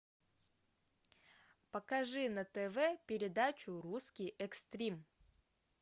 покажи на тв передачу русский экстрим